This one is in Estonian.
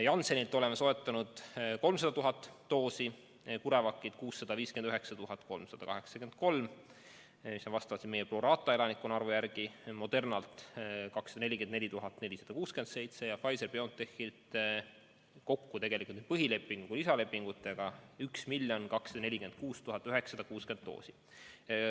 Janssenilt oleme soetanud 300 000 doosi, CureVacilt 659 383 – see on pro rata arvestus meie elanikkonna arvu järgi –, Modernalt 244 467 ja Pfizer/BioNTechilt kokku tegelikult nii põhilepingu kui ka lisalepingutega 1 246 960 doosi.